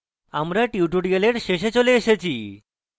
আমরা tutorial শেষে চলে এসেছি